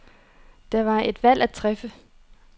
Der var et valg at træffe.